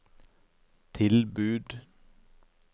tilbud